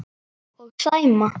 Og Sæma.